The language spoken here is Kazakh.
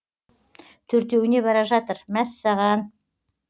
төртеуіне бара жатыр мәссаған